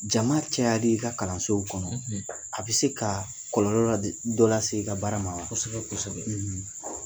Jama cayali i ka kalansow kɔnɔ a be se ka kɔlɔlɔ dɔ la se ka baara ma wa? kosɛbɛ kosɛbɛ.